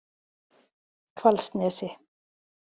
Hvalsnesi